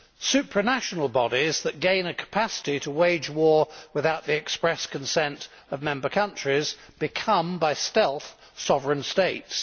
Supranational bodies that gain a capacity to wage war without the express consent of member countries become, by stealth, sovereign states.